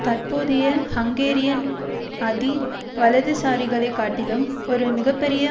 தற்போதைய ஹங்கேரியன் அதி வலதுசாரிகளை காட்டிலும் ஒரு மிக பெரிய